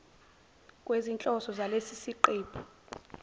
kwezinhloso zalesi siqephu